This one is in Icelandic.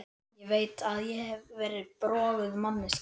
Ég veit að ég hef verið broguð manneskja.